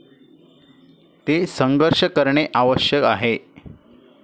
ते संघर्ष करणे आवश्यक आहे.